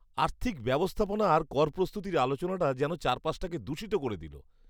আর্থিক ব্যবস্থাপনা আর কর প্রস্তুতির আলোচনাটা যেন চারপাশটাকে দূষিত করে দিল।